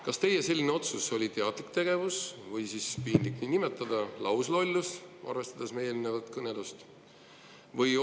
Kas teie selline otsus oli teadlik või siis lauslollus, kuigi piinlik on seda nii nimetada, arvestades meie eelnevat kõnelust?